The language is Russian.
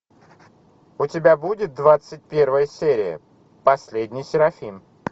у тебя будет двадцать первая серия последний серафим